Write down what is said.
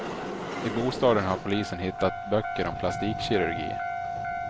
I bostaden har polisen hittat böcker om plastikkirurgi.